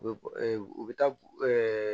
U bɛ bɔ u bɛ taa